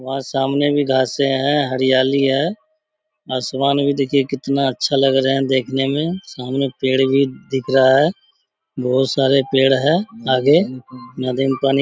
वहाँ सामने भी घासें हैं हरियाली है। आसमान भी देखिए कितना अच्छा लग रहे हैं देखने में। सामने पेड़ भी दिख रहा है। बहुत सारे पेड़ है आगे। नदी में पानी --